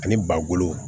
Ani ba bolo